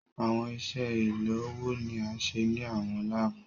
Awọn iṣe ilowo ni a ṣe ni awọn laabu